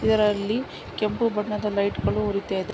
ಇದರಲ್ಲಿ ಕೆಂಪು ಬಣ್ಣದ ಲೈಟ್ ಗಳು ಉರಿತಾ ಇದೆ --